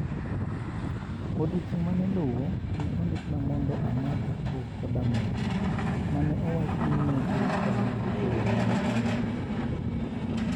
Odiechieng' ma ne luwo, ne ondikna mondo amadh co-codamol, ma ne owach ni ne dhi konya tieko rem ma ne an-go.